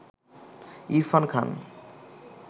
Irfan Khan